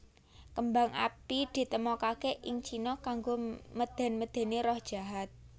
Kembang api ditemokaké ing Cina kanggo medén medéni roh jahat